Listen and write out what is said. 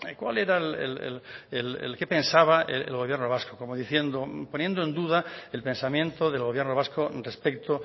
cuál era el qué pensaba el gobierno vasco como diciendo poniendo en duda el pensamiento del gobierno vasco respecto